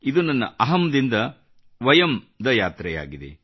ಇದು ನನ್ನ ಅಹಂ ದಿಂದ ವಯಂ ದ ಯಾತ್ರೆಯಾಗಿದೆ